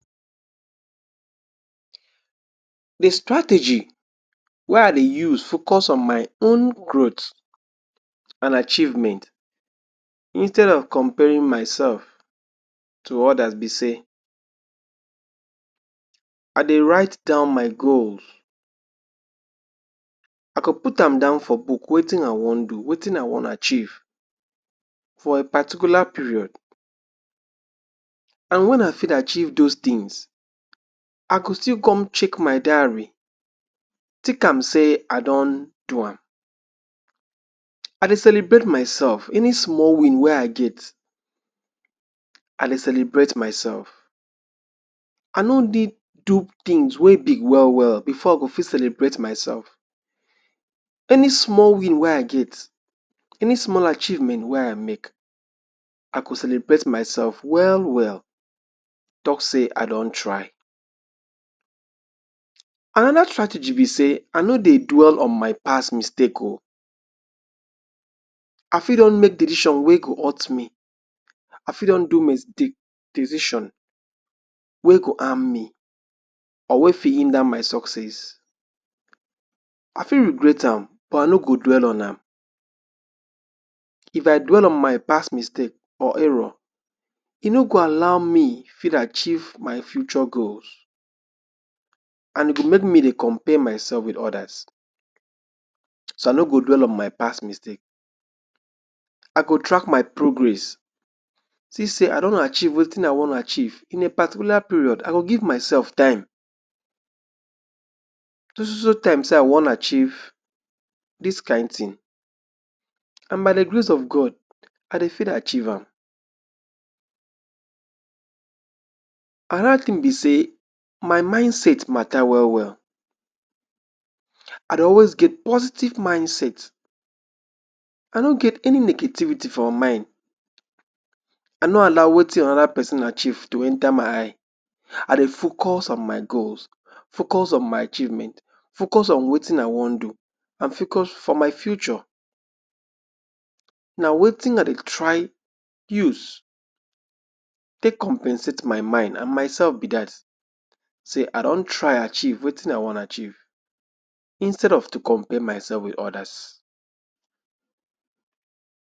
De strategy wey I dey use focus on my own growth and achievement, instead of comparing myself to others be sey I dey write down my goals. I go put am down for book, wetin I wan do, wetin I wan achieve for a particular period, and when I fit achieve those things. I go still come check my diary, tick am sey I don do am. I dey celebrate myself. Any small win wey I get, I dey celebrate myself. I no need do things wey big well well before I go fit celebrate myself. Any small win wey I get, any small achievement wey I make, I go celebrate myself well well, talk say I don try. Another strategy be sey I no dey dwell on my past mistake o. I fit don make decision wey go hurt me, I fit don do decision wey go harm me, or wey fit hinder my sucess. I fit regret am, but I no go dwell on am. If I dwell on my past mistake or error, e no go allow me fit achieve my future goals, and e go make me dey compare myself with others. So I no go dwell on my past mistake. I go track my progress see sey I don achieve wetin I wan achieve. In a particular period I go give myself time, so so so time sey I wan achieve dis kain thing, and by de Grace of God, I dey fit achieve am. Another thing be sey, my mindset mata well well. I dey always get positive mindset. I no get any negativity for mind. I no allow wetin another pesin achieve to enter my eye. I dey focus on my goals, focus on my achievement, focus on wetin I wan do, and focus for my future. Na wetin I dey try use take compensate my mind and myself be dat, sey I don try achieve wetin I wan achieve, instead of to compare myself with others.